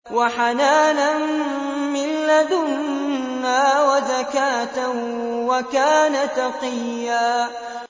وَحَنَانًا مِّن لَّدُنَّا وَزَكَاةً ۖ وَكَانَ تَقِيًّا